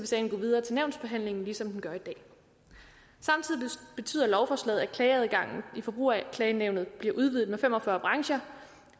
sagen gå videre til nævnsbehandlingen ligesom den gør i dag samtidig betyder lovforslaget at klageadgangen i forbrugerklagenævnet bliver udvidet med fem og fyrre brancher